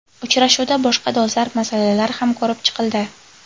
Uchrashuvda boshqa dolzarb masalalar ham ko‘rib chiqildi.